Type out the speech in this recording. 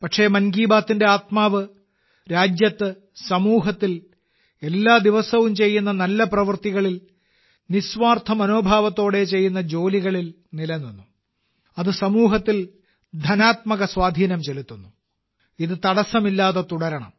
പക്ഷേ 'മൻ കി ബാത്തിന്റെ' ആത്മാവ് രാജ്യത്ത് സമൂഹത്തിൽ എല്ലാ ദിവസവും ചെയ്യുന്ന നല്ല പ്രവൃത്തികളിൽ നിസ്വാർത്ഥ മനോഭാവത്തോടെ ചെയ്യുന്ന ജോലികളിൽ നിലനിന്നു അത് സമൂഹത്തിൽ ധനാത്മക സ്വാധീനം ചെലുത്തുന്നു - ഇത് തടസ്സമില്ലാതെ തുടരണം